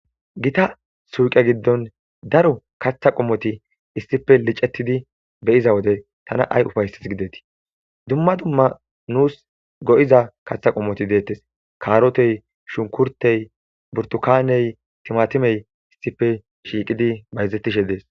Gotta suyqe giddon daro kaththa qommoti issippe lic'etidi be'iza wode tana ay ufaysesi gidettii? Go'iza kaththa qommoti dettes karotey, shunkurtey , buttukane, timatime issippe shiqidi bayzetishe dettes.